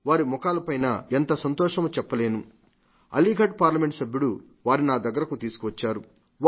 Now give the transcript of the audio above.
వారి మూఖాలపై ఎంత సంతోషమో చెప్పలేను అలీఘర్ పార్లమెంటు సభ్యుడు వారిని నా దగ్గరకు తీసుకువచ్చారు